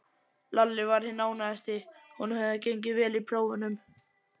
Lalli var hinn ánægðasti, honum hafði gengið vel í prófunum.